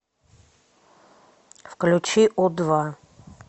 включи у два